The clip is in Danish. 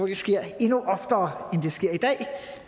det sker endnu oftere